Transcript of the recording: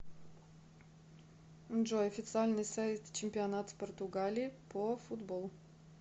джой официальный сайт чемпионат португалии по футболу